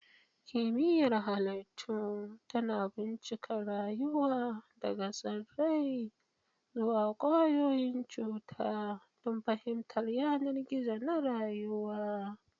Kimiyyar Halittu tana bincika rayuwa daga tsirrai zuwa ƙwayoyin cuta don fahimtar yanar gizo na rayuwa.